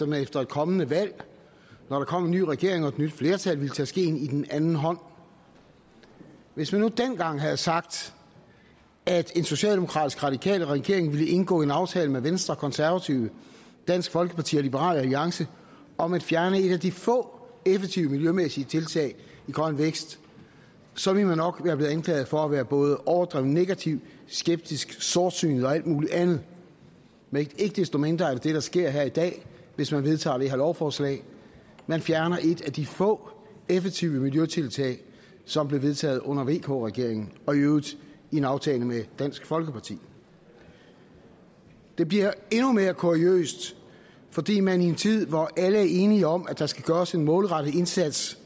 man efter et kommende valg når der kom en ny regering og et nyt flertal ville tage skeen i den anden hånd hvis man nu dengang havde sagt at en socialdemokratisk radikal regering ville indgå en aftale med venstre konservative dansk folkeparti og liberal alliance om at fjerne et af de få effektive miljømæssige tiltag i grøn vækst så ville man nok være blevet anklaget for at være både overdrevent negativ skeptisk sortsynet og alt muligt andet men ikke desto mindre er det det der sker her i dag hvis man vedtager det her lovforslag man fjerner et af de få effektive miljøtiltag som blev vedtaget under vk regeringen og i øvrigt i en aftale med dansk folkeparti det bliver endnu mere kuriøst fordi man i en tid hvor alle er enige om at der skal gøres en målrettet indsats